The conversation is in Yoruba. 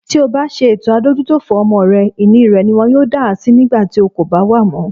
Tí obá ṣe ètò adójútòfò fún ọmọ rẹ, ìní rẹ̀ niwọn yóò dásí nígbàtí o kòbá wà mọ́.